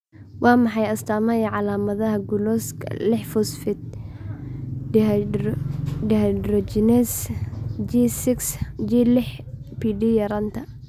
Waa maxay astamaha iyo calaamadaha gulukooska liix phosphate dehydrogenase (G lix PD) yaraanta?